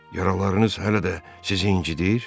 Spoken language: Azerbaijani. "Yaralarınız hələ də sizi incidr?"